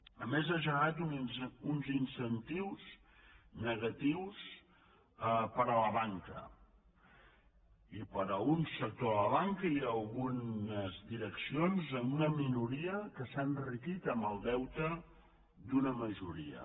a més ha generat uns incentius negatius per a la banca i per a algun sector de la banca i algunes direccions amb una minoria que s’ha enriquit amb el deute d’una majoria